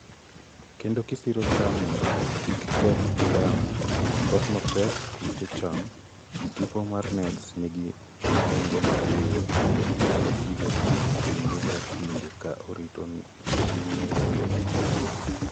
kendo kisiro cham mond kik keth gi yamo, koth mapek, kute cham. Tipo mar nets nigi nengo mapiny to inyalo tigo kinde ka kinde kaa orit nedego maber